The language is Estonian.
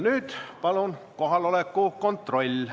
Nüüd palun kohaloleku kontroll.